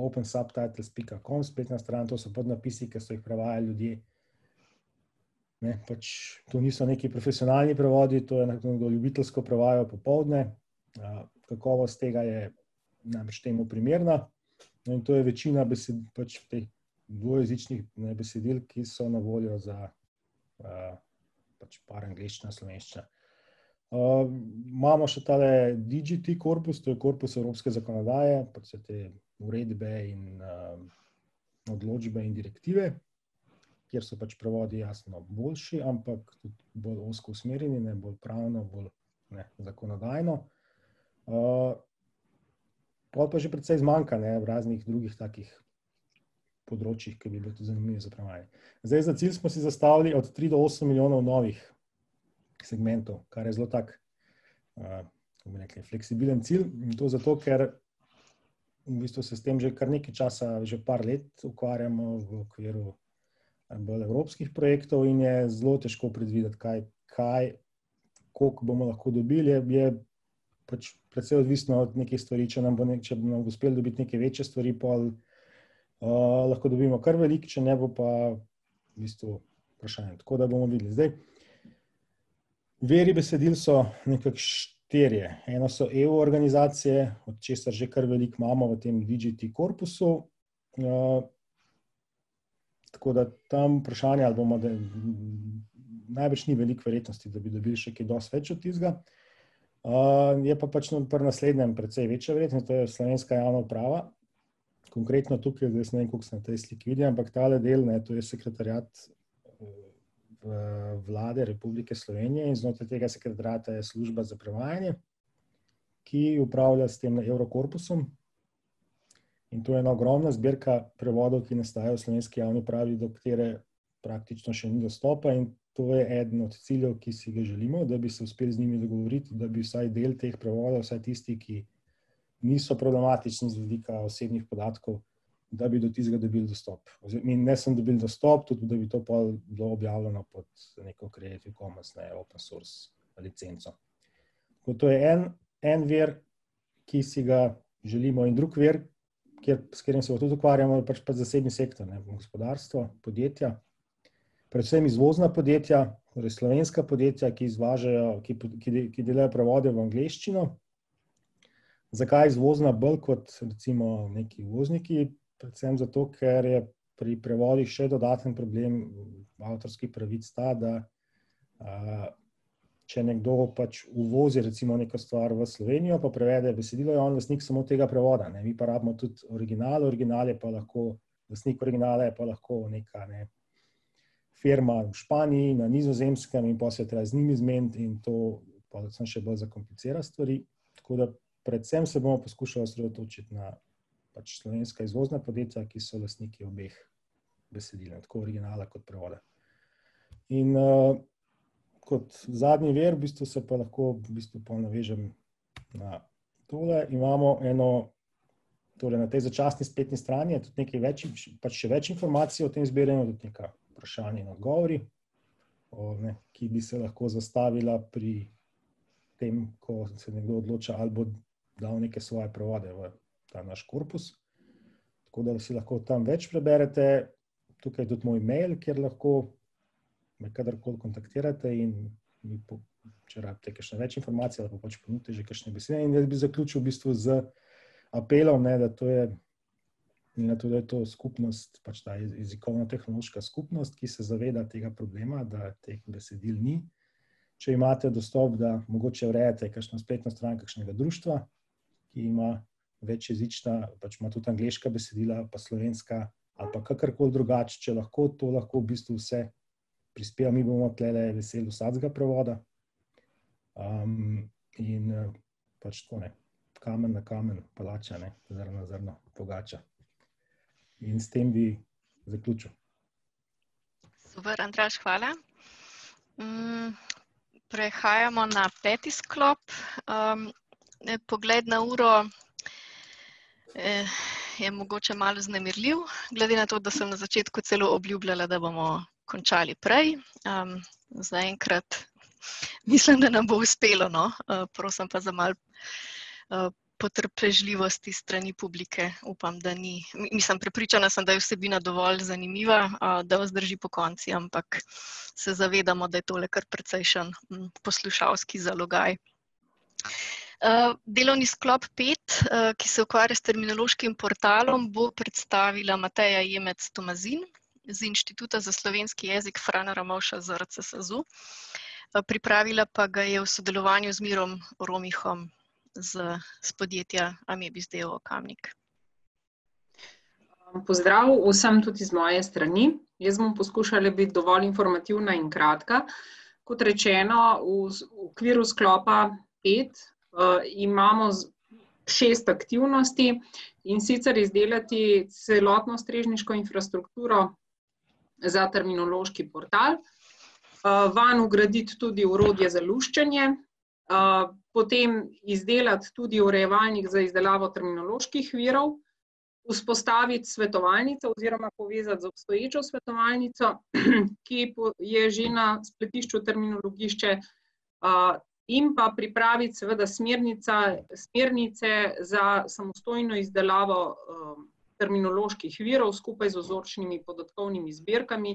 opensubtitles pika com, spletna stran, to so podnapisi, ki so jih prevajali ljudje, ne, pač to niso neki profesionalni prevodi, to je nekdo ljubiteljsko prevajal popoldne, kakovost tega je najbrž temu primerna. No, in to je večina pač teh dvojezičnih, ne, besedil, ki so na voljo za, pač par angleščina-slovenščina. imamo še tale DGT korpus, to je korpus evropske zakonodaje, pač vse te uredbe in, odločbe in direktive, kjer so pač prevodi jasno boljši, ampak tudi bolj ozko usmerjeni, ne, bolj pravno, bolj, ne, zakonodajno. pol pa že precej zmanjka, ne, v raznih drugih takih področjih, ke bi bilo tudi zanimivo za prevajati. Zdaj za cilj smo si zastavili od tri do osem milijonov novih segmentov, kar je zelo tako, kako bi rekli, fleksibilen cilj in to zato, ker v bistvu se s tem že kar nekaj časa, že par let ukvarjamo, v okviru bolj evropskih projektov in je zelo težko predvideti, kaj kaj, koliko bomo lahko dobili, je je ... Pač precej odvisno od nekih stvari, če nam, če bomo uspeli dobiti neke večje stvari, pol, lahko dobimo kar veliko, če ne bo pa, v bistvu vprašanje, tako da bomo videli, zdaj ... Viri besedil so nekako štirje. Eno so EU organizacije, od česar že kar veliko imamo, v tem DGT korpusu, tako da tam vprašanje, ali bomo najbrž ni veliko verjetnosti, da bi dobil še kaj dosti več od tistega. je pa pač pri naslednjem precej večja verjetnost, to je slovenska javna uprava, konkretno tukaj, zdaj jaz ne vem, koliko se na tej sliki vidi, ampak tale del, ne, to je sekretariat, Vlade Republike Slovenije in znotraj tega sekretariata je služba za prevajanje, ki upravlja s tem Evrokorpusom, in to je ena ogromna zbirka prevodov, ki nastajajo v slovenski javni upravi, do katere praktično še ni dostopa in to je eden od ciljev, ki si ga želimo - da bi se uspeli z njimi dogovoriti, da bi vsaj del teh prevodov, vsaj tisti, ki niso problematični z vidika osebnih podatkov, da bi do tistega dobili dostop, in ne samo dobili dostop, tudi da bi to pol bilo objavljeno pod neko Creative commons, ne, open source licenco. To je en, en vir, ki si ga želimo, in drug vir, kjer, s katerim se pa tudi ukvarjamo, je pač pa zasebni sektor, ne, gospodarstvo, podjetja. Predvsem izvozna podjetja, torej slovenska podjetja, ki izvažajo, ki delajo prevode v angleščino. Zakaj izvozna bolj kot recimo neki uvozniki? Predvsem zato, ker je pri prevodih še dodaten problem avtorskih pravic ta, da, če nekdo pač uvozi recimo neko stvar v Slovenijo pa prevede besedilo, je on lastnik samo tega prevoda, ne, mi pa rabimo tudi original, original je pa lahko, lastnik originala je pa lahko neka, ne, firma v Španiji, na Nizozemskem, in pol se je treba z njimi zmeniti in to pol samo še bolj zakomplicira stvari, tako da predvsem se bomo poskušali osredotočiti na pač slovenska izvozna podjetja, ki so lastniki obeh besedil - tako originala kot prevoda. In, kot zadnji vir v bistvu se pa lahko v bistvu pol navežem na tole. Imamo eno, tole na tej začasni spletni strani je tudi nekaj več, pač še več informacij o tem zbiranju, tudi neka vprašanja in odgovori, ki bi se lahko zastavila pri tem, ko se nekdo odloča, ali bo dal neke svoje prevode v ta naš korpus. Tako da si lahko tam več preberete. Tukaj je tudi moj mail, kjer lahko me kadarkoli kontaktirate in mi če rabite kakšne več informacije, lahko pač ponudite že kakšne In jaz bi zaključil v bistvu z apelom, ne, da to je, glede na to, da je to skupnost, jezikovno-tehnološka skupnost, ki se zaveda tega problema, da teh besedil ni, če imate dostop, da mogoče urejate kakšno spletno stran kakšnega društva, ki ima večjezična, pač ima tudi angleška besedila pa slovenska ali pa kakorkoli drugače, če lahko, to lahko v bistvu vse prispeva. Mi bomo tulele veseli vsakega prevoda. in pač tako ne, kamen na kamen palača, ne, zrno na zrno pogača. In s tem bi zaključil. Super, Andraž, hvala. prehajamo na peti sklop. pogled na uro je mogoče malo vznemirljiv, glede na to, da sem na začetku celo obljubljala, da bomo končali prej. zaenkrat ... mislim, da nam bo uspelo, no, prosim pa za malo potrpežljivosti s strani publike, upam, da ni ... Mislim, prepričana sem da, je vsebina dovolj zanimiva, da, vas drži pokonci ampak, se zavedamo, da je tole kar precejšen poslušalski zalogaj. delovni sklop pet, ki se ukvarja s terminološkim portalom, bo predstavila Mateja Jemec Tomazin z Inštituta za slovenski jezik Frana Ramovša ZRC SAZU. Pripravila pa ga je v sodelovanju z Mirom Romihom z, s podjetja Amebis d. o. o., Kamnik. Pozdrav vsem tudi iz moje strani, jaz bom poskušala biti dovolj informativna in kratka. Kot rečeno, v v okviru sklopa pet, imamo šest aktivnosti, in sicer izdelati celotno strežniško infrastrukturo za terminološki portal, vanj vgraditi tudi orodje za luščenje, potem izdelati tudi urejevalnik za izdelavo terminoloških virov, vzpostaviti svetovalnico oziroma povezati z obstoječo svetovalnico, ki je že na spletišču Terminologišče, in pa pripraviti seveda smernica, smernice za samostojno izdelavo, terminoloških virov skupaj z vzorčnimi podatkovnimi zbirkami,